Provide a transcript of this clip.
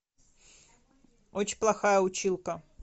очень плохая училка